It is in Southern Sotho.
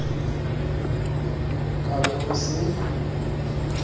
ho ka be ho se